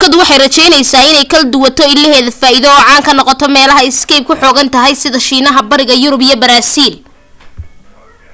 shirkadu waxay rajaynaysaa inay kal duwato ilaheed faa'iido oo caan ka noqoto meelo skype ku xooggan tahay sida shiinaha bariga yurub iyo baraasiil